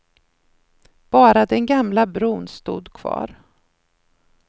Bara den gamla bron stod kvar.